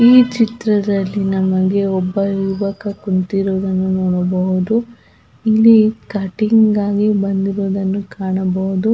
ಈ ಚಿತ್ರದಲ್ಲಿ ನಮಗೇ ಒಬ್ಬ ಯುವಕ ಕುಂತಿರುವುದನ್ನು ನೋಡಬಹುದು ಇಲ್ಲಿ ಕಟ್ಟಿಂಗ್ ಆಗಿ ಬಂದಿರುವುದನ್ನು ಕಾಣಬಹುದು.